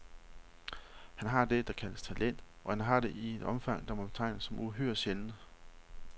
Han har det, der kaldes talent, og han har det i et omfang, der må betegnes som uhyre sjældent.